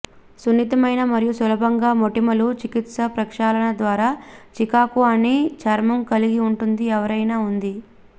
సున్నితమైన మరియు సులభంగా మోటిమలు చికిత్స ప్రక్షాళన ద్వారా చికాకు అని చర్మం కలిగి ఉంటుంది ఎవరైనా ఉంది